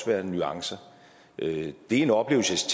være nuancer det er en oplevelse